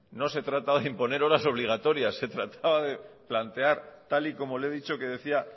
no se trataba de imponer horas obligatorias se trataba de plantear tal y como le he dicho que decía